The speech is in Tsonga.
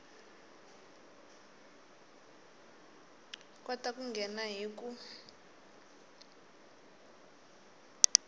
kota ku nghena hi ku